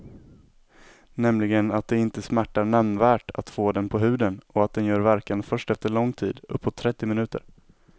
Nämligen att det inte smärtar nämnvärt att få den på huden och att den gör verkan först efter lång tid, uppåt trettio minuter.